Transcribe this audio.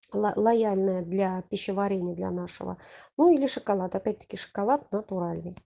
лояльная для пищеварения для нашего ну или шоколад опять таки шоколад натуральный